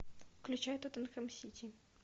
включай тоттенхэм сити